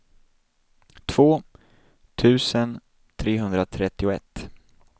två tusen trehundratrettioett